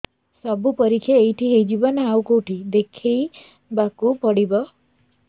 ସବୁ ପରୀକ୍ଷା ଏଇଠି ହେଇଯିବ ନା ଆଉ କଉଠି ଦେଖେଇ ବାକୁ ପଡ଼ିବ